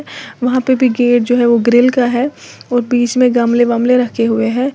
वहां पे भी गेट जो है वो ग्रिल का है और बीच में गमले वमले रखे हुए हैं।